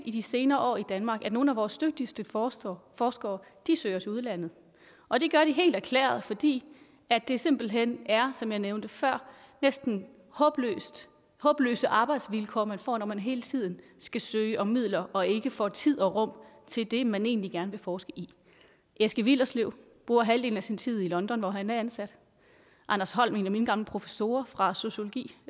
i de senere år i danmark har at nogle af vores dygtigste forskere forskere søger til udlandet og det gør de helt erklæret fordi det simpelt hen er som jeg nævnte før næsten håbløse håbløse arbejdsvilkår man får når man hele tiden skal søge om midler og ikke får tid og rum til det man egentlig gerne vil forske i eske willerslev bruger halvdelen af sin tid i london hvor han er ansat anders holm en af mine gamle professorer fra sociologi